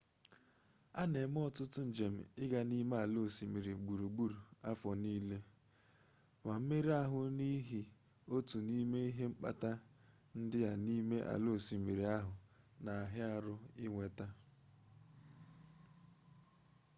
a na-eme ọtụtụ njem ịga na ime ala osimiri gburugburu afọ niile ma mmerụ ahụ n'ihi otu n'ime ihe mkpata ndị a n'ime ala osimiri ahụ na-ara ahụ inweta